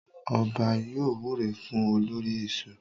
Ọba yóò wúre fún olórí ẹ̀ṣọ́.